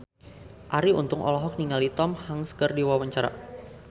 Arie Untung olohok ningali Tom Hanks keur diwawancara